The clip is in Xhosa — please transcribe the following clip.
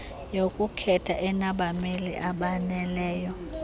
yokukhetha enabameli abaneleyo